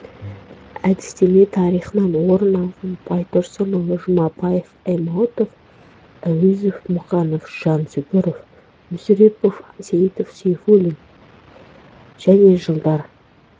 әдістеме тарихынан орын алған байтұрсынұлы жұмабаев аймауытов әуезов мұқанов жансүгіров мүсірепов сейітов сейфуллин және жылдар